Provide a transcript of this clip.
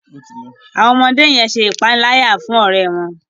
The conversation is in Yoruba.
Àwọn ọmọdé yen ṣe ìpaniláyà fún ọrẹ wón.